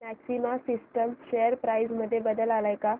maxima systems share price मध्ये बदल आलाय का